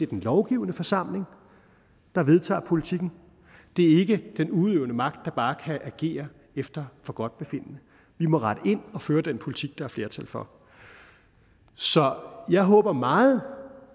den lovgivende forsamling der vedtager politikken det er ikke den udøvende magt der bare kan agere efter forgodtbefindende i må rette ind og føre den politik der er flertal for så jeg håber meget